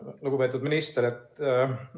Lugupeetud minister!